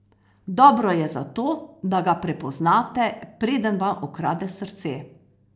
Dobro je zato, da ga prepoznate, preden vam ukrade srce.